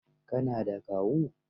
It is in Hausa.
Ka na da Kawu?